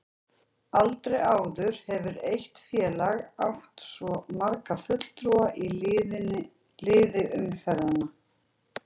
Aldrei áður hefur eitt félag átt svo marga fulltrúa í liði umferðanna.